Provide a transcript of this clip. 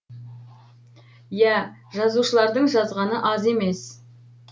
иә жазушылардың жазғаны аз емес